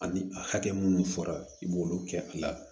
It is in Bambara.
Ani a hakɛ minnu fɔra i b'olu kɛ a la